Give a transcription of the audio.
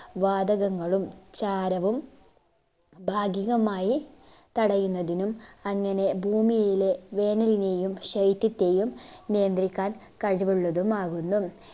വാതകങ്ങളും ചാരവും ഭാഗികമായി തടയുന്നതിനും അങ്ങനെ ഭൂമിയിലെ വേനലിനെയും ശൈത്യത്തെയും നിയന്ത്രിക്കാൻ കഴിവുള്ളതുമാകുന്നു